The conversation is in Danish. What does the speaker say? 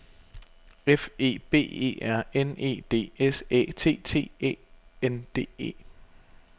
F E B E R N E D S Æ T T E N D E